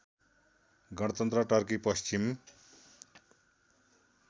गणतन्त्र टर्की पश्चिम